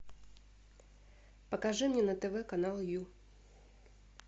покажи мне на тв канал ю